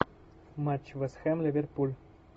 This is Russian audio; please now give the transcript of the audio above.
матч вест хэм ливерпуль